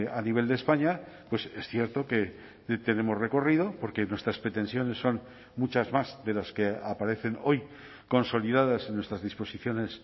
a nivel de españa es cierto que tenemos recorrido porque nuestras pretensiones son muchas más de las que aparecen hoy consolidadas en nuestras disposiciones